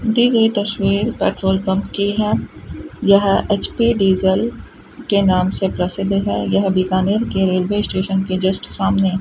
दी गई तस्वीर petrol pump की है यह एच_पी डीजल के नाम से प्रसिद्ध है यह बीकानेर के रेलवे स्टेशन के जस्ट सामने --